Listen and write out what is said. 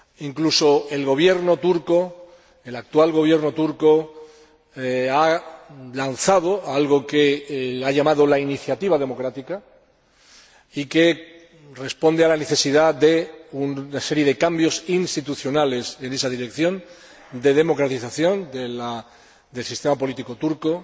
Incluso el actual Gobierno turco ha lanzado algo que ha denominado la iniciativa democrática y que responde a la necesidad de una serie de cambios institucionales en esa dirección de democratización del sistema político turco.